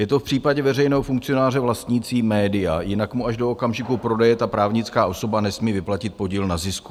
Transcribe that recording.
Je to v případě veřejného funkcionáře vlastnícího média, jinak mu až do okamžiku prodeje ta právnická osoba nesmí vyplatit podíl na zisku.